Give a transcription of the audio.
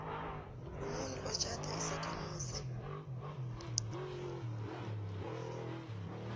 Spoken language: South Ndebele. umuntu otjhada isakhamuzi